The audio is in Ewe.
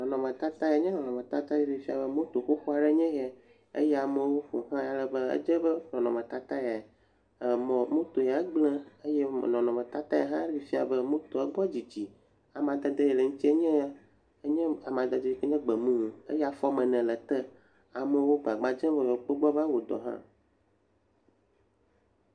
Nɔnɔmetata ye nye nɔnɔmetata yi ke ɖi fia be moto xoxo aɖe enye ya eye amewo ƒo xlãe ale be edze be nɔnɔmetata ya, emɔ, moto ya gblẽ eye nɔnɔmetata ya hã ɖi fia be motoa, egbɔ dzidzi. Amadede yi le eŋuti nye amadede gbemumu eye afɔ woame ene le ete. Amewo gbagba dzem be yeawokpɔ gbɔ be awɔ dɔ hã.